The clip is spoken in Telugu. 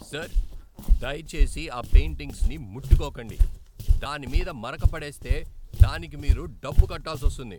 సర్, దయచేసి ఆ పెయింటింగ్స్ని ముట్టుకోకండి! దాని మీద మరక పడేస్తే దానికి మీరు డబ్బు కట్టాల్సొస్తుంది.